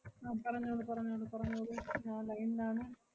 അഹ് പറഞ്ഞോളൂ പറഞ്ഞോളൂ പറഞ്ഞോളൂ ഞാൻ line ലാണ്.